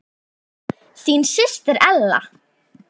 Þín systir Ella.